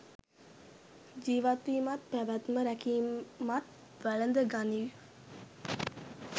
ජීවත්වීමත් පැවැත්ම රැකීමත් වැළඳ ගනිව්.